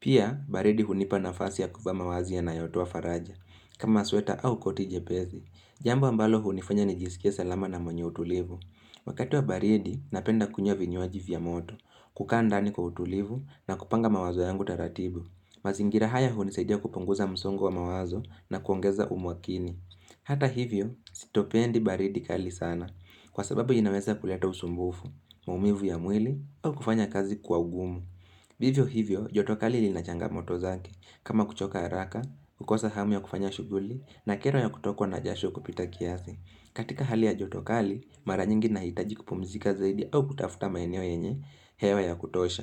Pia, baridi hunipa nafasi ya kuvaa mavazi yanayotoa faraja kama sweta au koti jepesi Jambo ambalo hunifanya nijisikie salama na mwenye utulivu Wakati wa baridi, napenda kunywa vinywaji vya moto kukaa ndani kwa utulivu na kupanga mawazo yangu taratibu azingira haya hunisaidia kupunguza msongo wa mawazo na kuongeza umakini Hata hivyo, sitopendi baridi kali sana kwa sababu inaweza kuleta usumbufu, maumivu ya mwili au kufanya kazi kwa ugumu Vivyo hivyo, joto kali lina changamoto zake kama kuchoka haraka, kukosa hamu ya kufanya shughuli na kero ya kutokwa na jasho kupita kiasi. Katika hali ya joto kali, mara nyingi ninahitaji kupumzika zaidi au kutafuta maeneo yenye hewa ya kutosha.